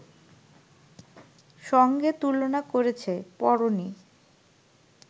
সঙ্গে তুলনা করেছে, পড়োনি